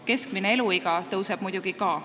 Keskmine eluiga tõuseb muidugi ka.